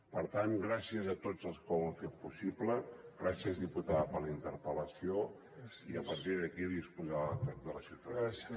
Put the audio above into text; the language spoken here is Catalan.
per tant gràcies a tots els que ho han fet possible gràcies diputada per la interpel·lació i a partir d’aquí a disposar de la ciutadania